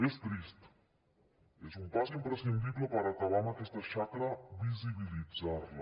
és trist és un pas imprescindible per acabar amb aquesta xacra visibilitzarla